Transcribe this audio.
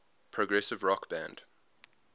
progressive rock band